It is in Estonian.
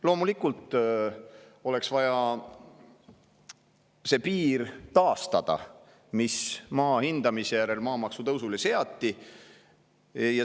Loomulikult oleks vaja taastada see piir, mis maa hindamise järel maamaksu tõusule seati.